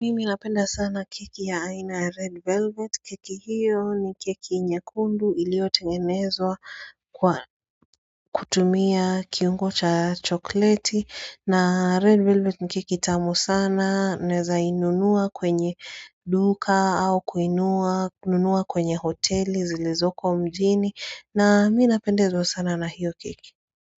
Mimi napenda sana keki ya aina ya red velvet keki hiyo ni keki nyekundu ilio tengenezwa kwa kutumia kiungo cha chokleti na red velvet ni keki itamu sana naeza inunua kwenye duka au kuinua, nunua kwenye hoteli zilizoko mjini na mi napendezwa sana na hiyo keki.